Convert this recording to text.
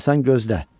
Amma sən gözlə.